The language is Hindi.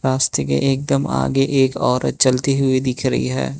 रास्ते के एकदम आगे एक और चलती हुई दिख रही है।